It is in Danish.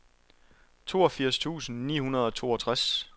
toogfirs tusind ni hundrede og toogtres